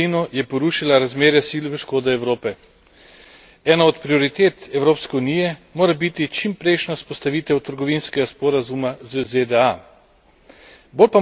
Ruska invazija na Ukrajino je porušila razmerje sil v škodo Evrope. Ena od prioritet Evropske unije mora biti čimprejšnja vzpostavitev trgovinskega sporazuma z ZDA.